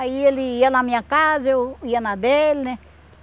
Aí ele ia na minha casa, eu ia na dele, né?